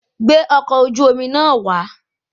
Gbé ọkọ̀ oju-omi náà wà